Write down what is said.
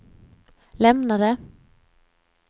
lämnade